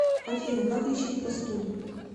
афина как лечить простуду